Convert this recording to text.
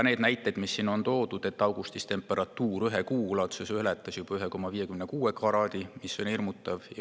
On toodud ka näiteid, et augustis ületas temperatuuri ühe kuu ulatuses juba 1,56 kraadi, mis on hirmutav.